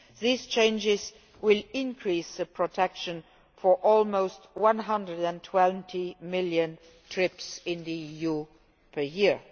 These changes will increase protection for almost 120 million trips in the EU per year.